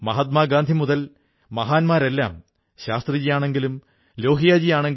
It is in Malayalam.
മറ്റുള്ളവർക്കൊപ്പം വായിക്കുന്നതിന്റെയും പഠിക്കുന്നതിന്റെയും സന്തോഷം പങ്കുവയ്ക്കുന്നതിലാണ് ഈ കഴിവ്